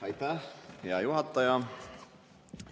Aitäh, hea juhataja!